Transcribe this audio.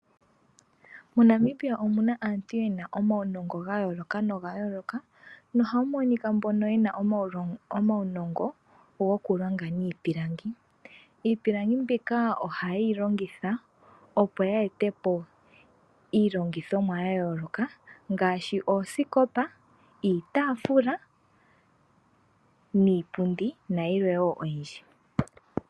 MoNamibia omuna aantu yena omawunongo gayooloka na ohamu monika mbono yena omawunongo gokulonga niipilangi, iipilangi mbika ohayeyi longitha opo ya etepo iilongithomwa yayooloka ngaashi oosikopa, iitaafula niipundi nayilwe oyindji.